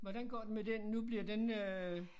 Hvordan går det med den nu bliver den øh